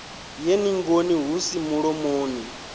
ye ningoni hu si mulomoni